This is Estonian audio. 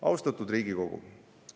Austatud Riigikogu!